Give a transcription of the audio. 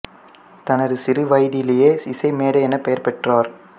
தனது சிறு வயதிலேயே இசை மேதை எனப் பெயர் பெற்றார்